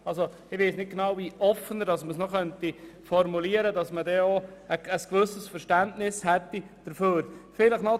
Ich weiss nicht, wie man das noch offener formulieren könnte, damit man diesem Anliegen ein gewisses Verständnis entgegenbringt.